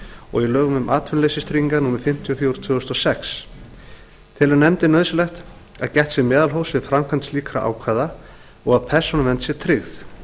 og í lögum um atvinnuleysistryggingar númer fimmtíu og fjögur tvö þúsund og sex telur nefndin nauðsynlegt að gætt sé meðalhófs við framkvæmd slíkra ákvæða og að persónuvernd sé tryggð